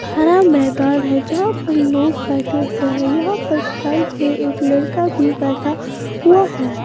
हरा मैदान है जहाँ पर लोग बैठे हुए हैं यहां पर साइड में एक लड़का भी बैठा हुआ है।